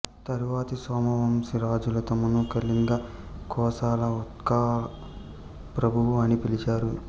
తరువాతి సోమవంశి రాజులు తమను కళింగ కోసల ఉత్కళ ప్రభువు అని పిలిచారు